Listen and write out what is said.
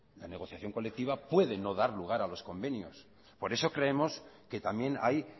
la negociación colectiva puede no dar lugar a los convenios por eso creemos que también hay